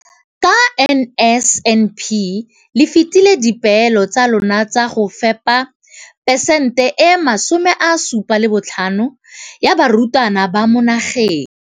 Ka NSNP le fetile dipeelo tsa lona tsa go fepa masome a supa le botlhano a diperesente ya barutwana ba mo nageng.